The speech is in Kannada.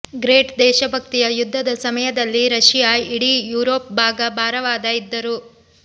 ಗ್ರೇಟ್ ದೇಶಭಕ್ತಿಯ ಯುದ್ಧದ ಸಮಯದಲ್ಲಿ ರಶಿಯಾ ಇಡೀ ಯುರೋಪ್ ಭಾಗ ಭಾರವಾದ ಇದ್ದರು